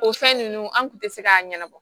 O fɛn nunnu an kun te se k'a ɲɛnabɔ